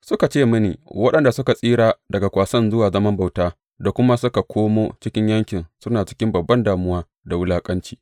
Suka ce mini, Waɗanda suka tsira daga kwasan zuwa zaman bauta da kuma suka komo cikin yankin suna cikin babban damuwa da wulaƙanci.